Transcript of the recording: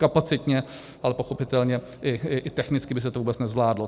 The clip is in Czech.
Kapacitně, ale pochopitelně i technicky by se to vůbec nezvládlo.